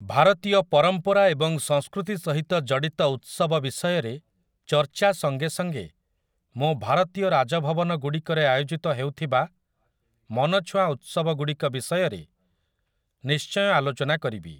ଭାରତୀୟ ପରମ୍ପରା ଏବଂ ସଂସ୍କୃତି ସହିତ ଜଡ଼ିତ ଉତ୍ସବ ବିଷୟରେ ଚର୍ଚ୍ଚା ସଙ୍ଗେ ସଙ୍ଗେ ମୁଁ ଭାରତୀୟ ରାଜଭବନଗୁଡ଼ିକରେ ଆୟୋଜିତ ହେଉଥିବା ମନଛୁଆଁ ଉତ୍ସବଗୁଡ଼ିକ ବିଷୟରେ ନିଶ୍ଚୟ ଆଲୋଚନା କରିବି ।